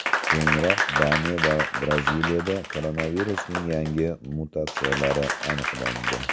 Keyinroq Daniya va Braziliyada koronavirusning yangi mutatsiyalari aniqlandi .